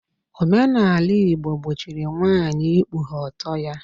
Omenala Igbo gbochiri nwaanyị ikpughe ọtọ ya